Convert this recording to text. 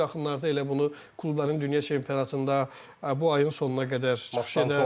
Biz bu yaxınlarda elə bunu klubların dünya çempionatında, bu ayın sonuna qədər çıxış edər.